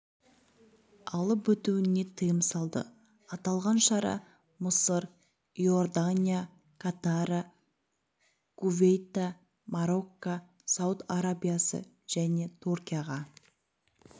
алып өтуіне тыйым салды аталған шара мысыр иордания қатара кувейта марокко сауд арабиясы және түркияға